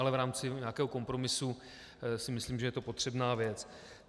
Ale v rámci nějakého kompromisu si myslím, že je to potřebná věc.